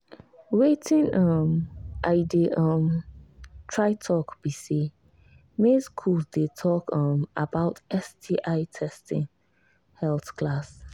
watin um i they try talk be say make school they talk um about sti testing health class